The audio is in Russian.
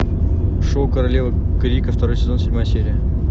шоу королева крика второй сезон седьмая серия